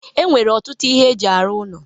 E nwere ọtụtụ ihe eji arụ ụlọ